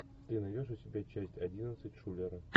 ты найдешь у себя часть одиннадцать шулеры